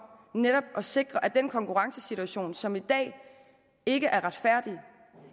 netop at sikre at den konkurrencesituation som i dag ikke er retfærdig